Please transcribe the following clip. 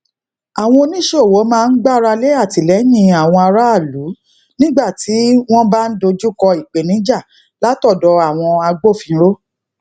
àwọn oníṣòwò máa ń gbáralé atìlẹyìn àwọn aráàlú nígbà tí wọn bá dojúkọ ìpèníjà látọdọ àwọn agbófinró